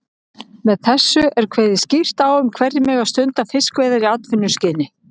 Með þessu er kveðið skýrt á um hverjir megi stunda fiskveiðar í atvinnuskyni.